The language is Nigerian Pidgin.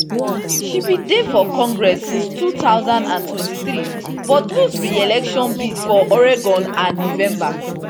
she bin dey bin dey for congress since two thousand and twenty-three but lose reelection bid for oregon for november